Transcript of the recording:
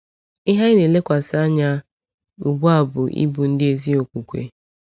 Ihe anyị na-elekwasị anya ugbu a bụ ịbụ ndị ezi okwukwe.